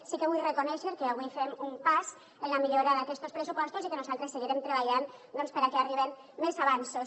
sí que vull reconèixer que avui fem un pas en la millora d’aquestos pressupostos i que nosaltres seguirem treballant perquè arriben més avanços